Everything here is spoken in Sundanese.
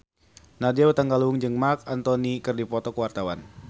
Nadya Hutagalung jeung Marc Anthony keur dipoto ku wartawan